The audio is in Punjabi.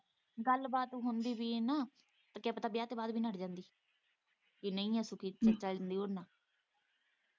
ਗੱਲਬਾਤ ਹੁੰਦੀ ਵੀ ਏ ਨਾ ਤੇ ਕਿਆ ਪਤਾ ਵਿਆਹ ਤੋਂ ਬਾਅਦ ਵੀ ਨੱਠ ਜਾਂਦੀ ਜੇ ਨਹੀਂ ਤੇ .